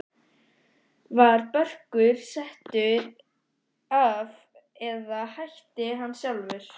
Var Börkur settur af eða hætti hann sjálfur?